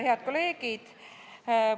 Head kolleegid!